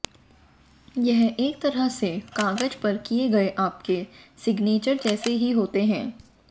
ये एक तरह से कागज पर किए गए आपके सिग्नेचर जैसे ही होते हैं